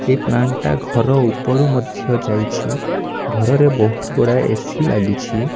ଏହି ପ୍ଲାଣ୍ଟ ଟା ଘର ଉପରୁ ମଧ୍ୟ ଯାଇଛି ଘରରେ ବହୁତ ଗୁଡ଼ାଏ ଏ_ସି ଲାଗିଛି।